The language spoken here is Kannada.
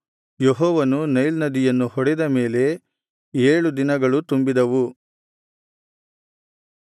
ಯೆಹೋವನು ನೈಲ್ ನದಿಯನ್ನು ಹೊಡೆದ ಮೇಲೆ ಏಳು ದಿನಗಳು ತುಂಬಿದವು